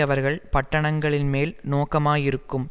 அவர்கள் பட்டணங்களின்மேல் நோக்கமாயிருக்கும்